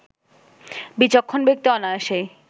বিচক্ষণ ব্যক্তি অনায়াসেই